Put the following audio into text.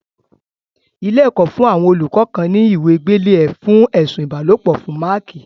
Ilé-ẹ̀kọ́ fún àwọn olùkọ́ kan ní ìwé gbélé ẹ̀ fún ẹ̀sù ìbálòpọ̀ fún máákì.